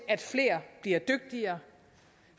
at flere bliver dygtigere